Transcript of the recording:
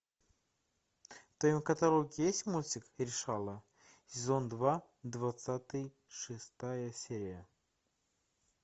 в твоем каталоге есть мультик решала сезон два двадцать шестая серия